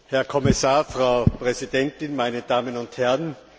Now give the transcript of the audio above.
Herr Kommissar, Frau Präsidentin, meine Damen und Herren!